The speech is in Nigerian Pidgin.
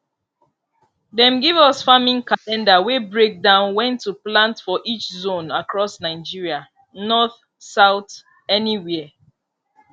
dem give us farming calendar wey break down when to plant for each zone across nigeria north south anywhere